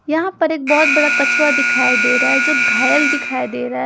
यहाँ पर एक बहोत बड़ा कछुआ दिखाई दे रहा है जो घायल दिखाई दे रहा है।